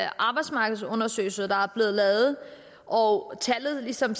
arbejdsmarkedsundersøgelse der er lavet og tallet ligesom